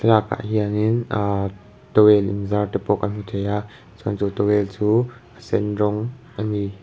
thlalak ah hianin ahh towel in zar te pawh kan hmu thei a chuan chu towel chu a sen rawng a ni.